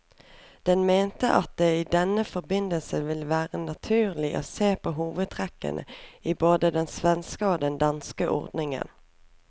Den mente at det i denne forbindelse ville være naturlig å se på hovedtrekkene i både den svenske og den danske ordningen.